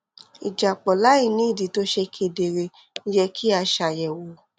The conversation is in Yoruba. ìjápọ láìní ìdí tó ṣe kedere yẹ kí a ṣàyèwò